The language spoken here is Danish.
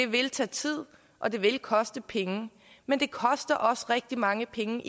vil tage tid og det vil koste penge men det koster også rigtig mange penge